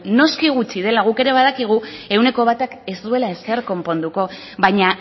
noski gutxi dela guk ere badakigu ehuneko batak ez duela ezer konponduko baina